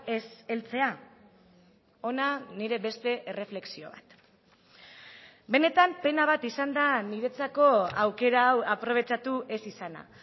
ez heltzea hona nire beste erreflexio bat benetan pena bat izan da niretzako aukera hau aprobetxatu ez izana